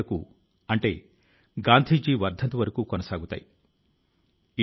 వారు దేశంలోని రాబోయే తరాల కోసం తమ ప్రయత్నాలతో తీరిక లేకుండా ఉన్నారు